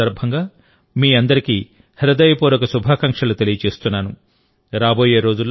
ఈ పండుగల సందర్భంగా మీ అందరికీ హృదయపూర్వక శుభాకాంక్షలు తెలియజేస్తున్నాను